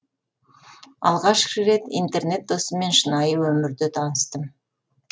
алғаш рет интернет досыммен шынайы өмірде таныстым